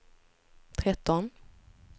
tretton